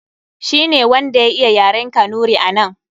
Shi ne wanda ya iya yaren Kanuri a nan.